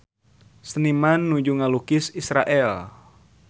Seniman nuju ngalukis Israel